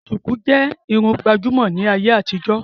Sùkú jẹ́ Irun gbàjúmọ̀ ní ayé àtijó